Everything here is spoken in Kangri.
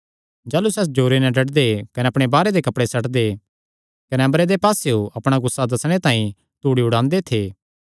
जाह़लू सैह़ जोरे नैं डड्डदे कने अपणे बाहरे दे कपड़े सट्टदे कने अम्बरे दे पास्सेयो अपणा गुस्सा दस्सणे तांई धूड़ी उडांदे थे